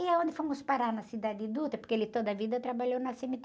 E é onde fomos parar na, porque ele toda a vida trabalhou na cê-eme-tê.